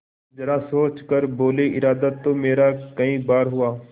जरा सोच कर बोलेइरादा तो मेरा कई बार हुआ